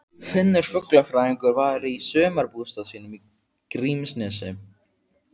Finnur fuglafræðingur væri í sumarbústað sínum í Grímsnesi.